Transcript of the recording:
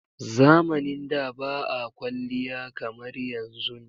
Zamanin da ba a kwaliya kamar yanzun.